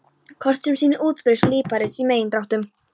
Kort sem sýnir útbreiðslu líparíts í megindráttum.